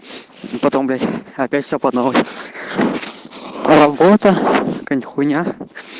и потом блять опять всё по-новой работа какая-нибудь хуйня